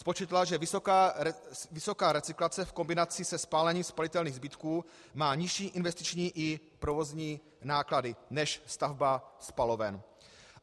Spočítala, že vysoká recyklace v kombinaci se spálením spalitelných zbytků má nižší investiční i provozní náklady než stavba spaloven.